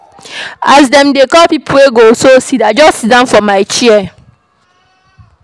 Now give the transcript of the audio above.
As dem dey call pipo wey go sew seed, I just siddon for my chair.